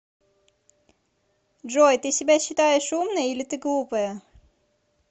джой ты себя считаешь умной или ты глупая